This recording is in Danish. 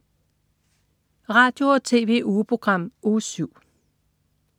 Radio- og TV-ugeprogram Uge 7